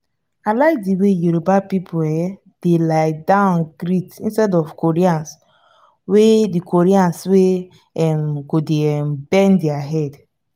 i like the way yoruba people um dey lie down greet instead of the koreans wey the koreans wey um go dey um bend their head